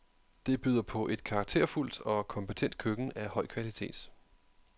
Det byder på et karakterfuldt og kompetent køkken af høj kvalitet.